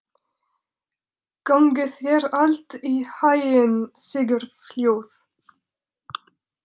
Gangi þér allt í haginn, Sigurfljóð.